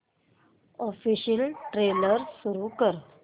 official trailer सुरू कर